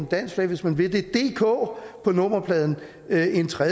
dansk flag hvis man vil det et dk på nummerpladen er en tredje